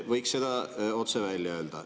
Võiks selle otse välja öelda.